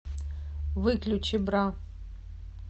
выключи бра